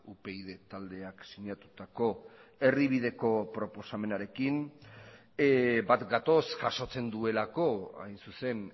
upyd taldeak sinatutako erdibideko proposamenarekin bat gatoz jasotzen duelako hain zuzen